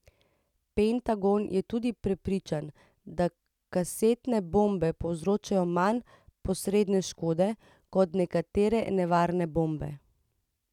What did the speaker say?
Pentagon je tudi prepričan, da kasetne bombe povzročajo manj posredne škode, kot nekatere nevarne bombe.